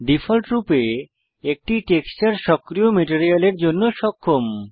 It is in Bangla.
ডিফল্টরূপে একটি টেক্সচার সক্রিয় মেটেরিয়ালের জন্য সক্ষম